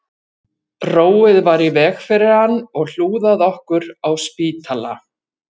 Róið var í veg fyrir hann og hlúð að okkur á spítala